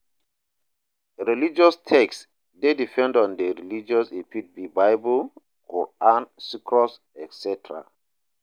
Religious text de depend on di religion e fit be bible, quaran, scrolls etcs